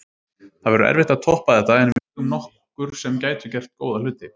Það verður erfitt að toppa þetta en við eigum nokkur sem gætu gert góða hluti.